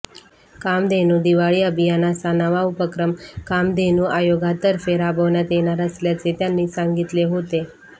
कामधेनू दिवाळी अभियान असा नवा उपक्रम कामधेनू आयोगातर्फे राबविण्यात येणार असल्याचे त्यांनी सांगितले होते